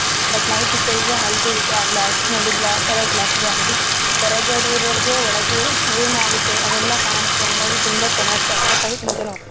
But night ಇತ್ತರಂದ್ರೆ ಆ glass ನೋಡಿ ಬ್ಲಾಕ್ ಕಲರ್ ಗ್ಲಾಸ್ ಇದೆ ಅಂದ್ರೆ ಹೊರಗಡೆ ಇರೋರೋಗೆ ಒಳಗೆ ಏನಾಗುತ್ತೆ ಅದೆಲ್ಲ ಕಾಣುತ್ತೆ ಹಾಂಗಾಗಿ ತುಂಬಾ ಚೆನ್ನಾಗಿರುತ್ತೆ ಅಟ್ರಾಕ್ಟ್ ಆಗಿ ತುಂಬಾ ಜನ ಹೋಗ್ತಾರೆ .